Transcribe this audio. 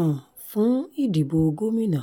um fún ìdìbò gómìnà